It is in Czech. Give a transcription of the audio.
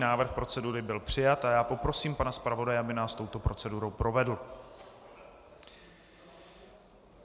Návrh procedury byl přijat a já poprosím pana zpravodaje, aby nás touto procedurou provedl.